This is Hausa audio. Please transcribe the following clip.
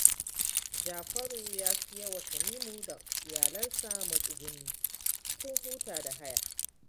Jafaru ya siya wa Tanimu da iyalansa matsuguni sun huta da haya